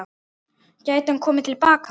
Gæti hann komið til baka?